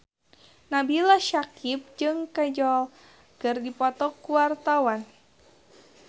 Nabila Syakieb jeung Kajol keur dipoto ku wartawan